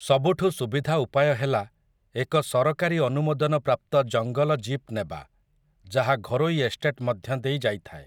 ସବୁଠୁ ସୁବିଧା ଉପାୟ ହେଲା ଏକ ସରକାରୀ ଅନୁମୋଦନ ପ୍ରାପ୍ତ ଜଙ୍ଗଲ ଜୀପ୍ ନେବା, ଯାହା ଘରୋଇ ଏଷ୍ଟେଟ୍ ମଧ୍ୟ ଦେଇ ଯାଇଥାଏ ।